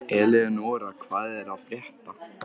Eleonora, hvað er að frétta?